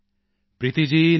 Preeti ji ਨਮਸਤੇ